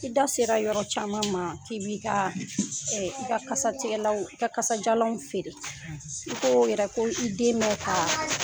I da sera yɔrɔ caman ma k'i b'i ka i ka kasatigɛlanw i ka kasajalanw feere i ko yɛrɛ ko i den bɛ ka